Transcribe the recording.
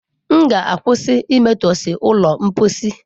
M ga-akwụsị imetọsị ụlọ mposi.